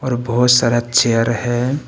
और बहुत सारा चेयर है।